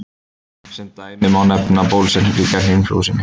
Sem dæmi má nefna bólusetningu gegn inflúensu.